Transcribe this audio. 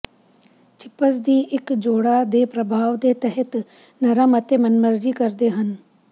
chips ਦੀ ਇੱਕ ਜੋੜਾ ਦੇ ਪ੍ਰਭਾਵ ਦੇ ਤਹਿਤ ਨਰਮ ਅਤੇ ਮਨਮਰਜ਼ੀ ਕਰਦੇ ਹਨ